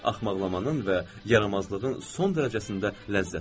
Axmaqlamanın və yaramazlığın son dərəcəsində ləzzət var.